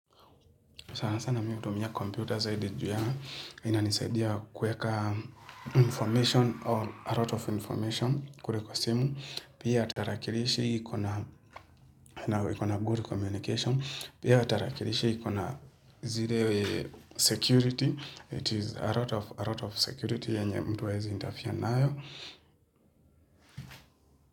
Saasa nami hutumia computer zaidi juu ya inanisaidia kuweka m information or arot of information kure kwa simu, pia tarakirishi iko na ikona gor communication, pia tarakirishi iko na zire security, it is a rot of a rot of security yenye mtu hawezi interfere nayo.